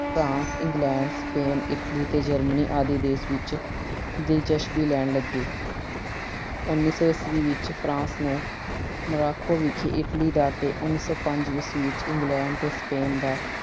France, England, Spain, Italy ਤੇ Germany ਆਦਿ ਦੇਸ਼ ਵਿੱਚ ਦਿਲਚਸਪੀ ਲੈਣ ਲੱਗੇ। ਉਨੀ ਸੌ ਈਸਵੀ ਵਿੱਚ France ਨੂੰ Morocco ਵਿਖੇ Italy ਦਾ ਅਤੇ ਉਨੀ ਸੌ ਪੰਜ ਈਸਵੀ ਵਿੱਚ England ਤੇ Spain ਦਾ